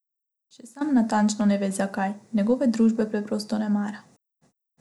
Še sam natančno ne ve zakaj, njegove družbe preprosto ne mara.